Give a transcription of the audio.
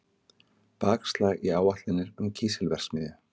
Bakslag í áætlanir um kísilverksmiðju